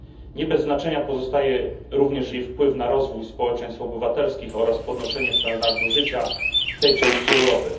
Nie bez znaczenia pozostaje również jej wpływ na rozwój społeczeństw obywatelskich oraz podnoszenie standardu życia tej części Europy.